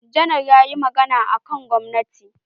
Janar ya yi magana akan gwamnati.